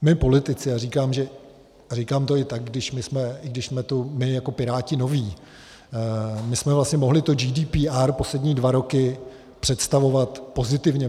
My politici, a říkám to tak, že když jsme tu my jako Piráti noví, my jsme vlastně mohli to GDPR poslední dva roky představovat pozitivně.